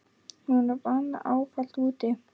Hún vann ávallt úti.